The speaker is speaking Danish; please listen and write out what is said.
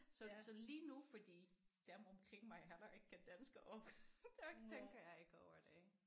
Så så lige nu fordi dem omkring mig heller ikke kan dansk og der tænker jeg ikke over det